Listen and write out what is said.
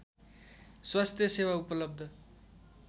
स्वास्थ्य सेवा उपलब्ध